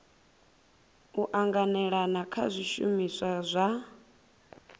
u anganelana kha zwishumiswa zwa